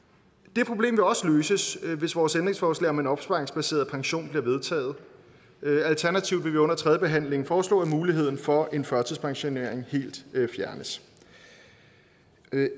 det problem vil også løses hvis vores ændringsforslag om en opsparingsbaseret pension bliver vedtaget alternativt vil vi under tredjebehandlingen foreslå at muligheden for en førtidspensionering helt fjernes